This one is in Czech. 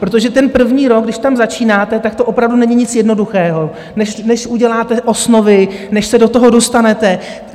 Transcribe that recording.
Protože ten první rok, když tam začínáte, tak to opravdu není nic jednoduchého, než uděláte osnovy, než se do toho dostanete.